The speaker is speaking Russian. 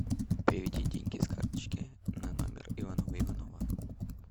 переведи деньги с карточки на номер иванова иванова